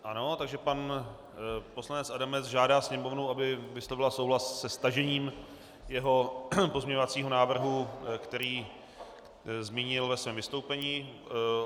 Ano, takže pan poslanec Adamec žádá Sněmovnu, aby vyslovila souhlas se stažením jeho pozměňovacího návrhu, který zmínil ve svém vystoupení.